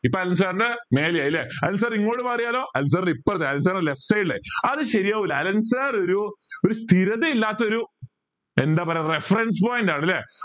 ഇപ്പൊ Allen sir ടെ മേലെ ആയല്ലേ അലെൻ sir ഇങ്ങോട്ട് മാറിയാലോ അലെൻ sir ൻ്റെ ഇപ്പറത്ത് അലെൻ sir ൻ്റെ left side ൽ ആയി അത് ശെരിയാവൂല അലെൻ sir ഒരു ഒരു സ്ഥിരതയില്ലാത്തൊരു എന്താ പറയാ reference point ആണല്ലേ